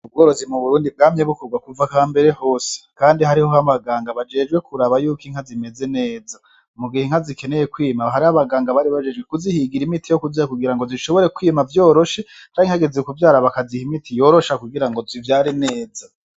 Ubworozi mu burundi bwamye bukorwa kuva hambere hose kandi hariho abaganga bajejwe kuraba yuko inka zimeze neza mu gihe inka zikeneye kwima hari abaganga bari bajejwe kuzihigira imiti yo kuziha kugira ngo zishobore kwima vyoroshe canke hageze kuvyara bakaziha imiti yorosha kugira zivyare neza.